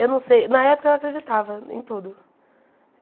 Eu não sei, na época eu acreditava em tudo.